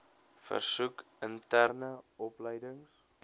versoek interne opleidings